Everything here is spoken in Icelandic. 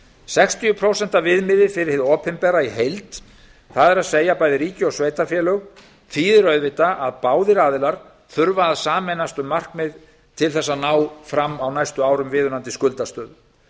sextíu prósent viðmiðið fyrir hið opinbera í heild það er bæði ríki og sveitarfélög þýðir auðvitað að báðir aðilar þurfa að sameinast um markmið til að ná fram á næstu árum viðunandi skuldastöðu